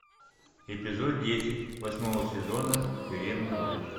эпизод десять восьмого сезона тюремный врач